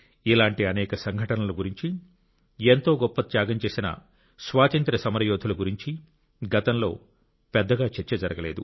ఇలాంటి అనేక సంఘటనల గురించి ఎంతో గొప్ప త్యాగం చేసిన స్వాతంత్ర్య సమరయోధుల గురించి గతంలో పెద్దగా చర్చ జరగలేదు